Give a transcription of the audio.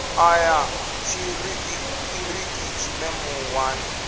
ṱa ya tshiṱiriki tshine muwani